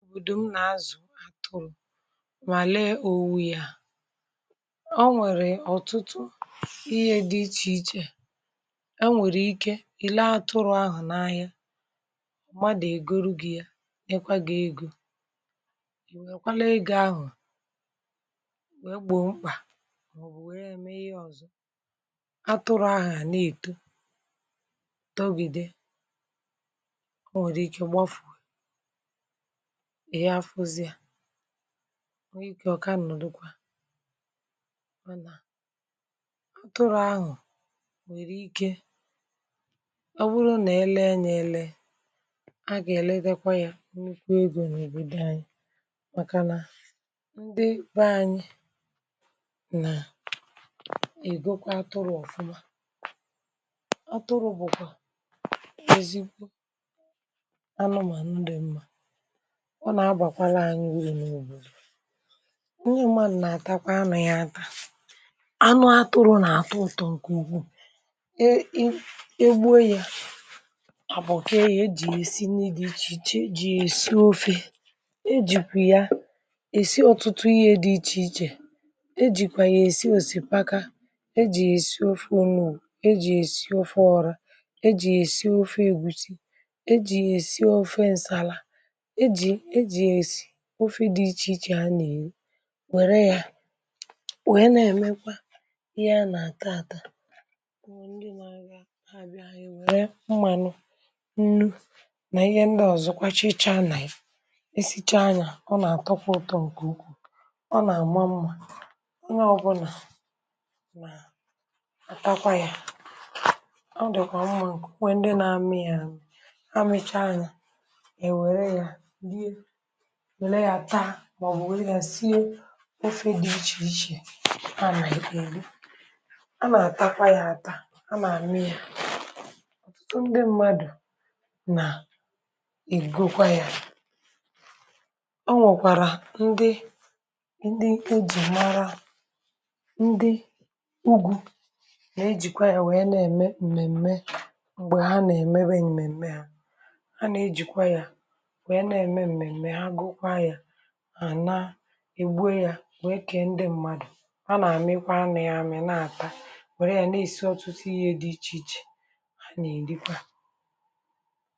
Òbòdò m na-azụ atụrụ, ma lee owu ya ọ nwèrè ọtụtụ ihe dị iche iche e nwekwara ike. um I lee atụrụ ahụ n’ahịa, mmadụ egoro gị ya, e nwekwara ego. I nwekwara ike lee ego um ahụ wee gboo mkpa, maọbụ wee mee ihe ọzọ. Atụrụ ahụ a na-eto togide um o nwekwara ike gbapụ. Ọ na-ekè, ọkànụ nukwa, mana atụrụ ahụ nwekwara ike bụrụ na ele anya ele, a ga-eledekwazị ya. N’ikwu ego n’òbò dị anyị, maka na ndị ebe anyị na-azụkwa um atụrụ ọfụma. Atụrụ bụkwa ezikwo anụ, ma ndụ mma nye mmadụ na-atakwa na ya. Atụrụ bụ anụ na-atọ ụtọ. um Nkụ ukwu e… ị ebuo ya, e bo kwa ya. E ji esi n’ihe dị iche iche e ji esi ofe ọrụ, e ji esi ofe nsàlà. Ofe dị iche iche a na-eji ya eme, e ji were ya wee um na-emekwa ihe na-ata ata, were mmánụ, nnu, na ihe ndị ọzọkwa. Chịchaa na-esicha anya, o na-atọkwa um uto nke ukwuu. O na-agba mma, o na-abụ na ma tatakwa ya, ọ dịkwa mma nke ukwuu. um Ndị na-amị ya, a, na-amịcha anya e were ya, wèlè ya taa, maọbụ were ya sie ofe dị iche iche. A na-edokwa ya, a na-atakwa ya ata, a na-amịkwa ya. Ndụ mmadụ na-egokwa um ya nwokwàrà ndụ e ji mara ndụ ugwu. A na-ejikwa ya wee na-eme mmemme. Mgbe ha na-eme mmemme ha, a na-ejikwa ya, e gbuo ya, wee kee ndị mmadụ. Kwa, na-amịkwa anụ ya amị na-ata, nwere ya, na-esi ọtụtụ ihe ;dị iche iche. um A na-edekwa.